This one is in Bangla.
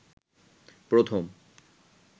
প্রথম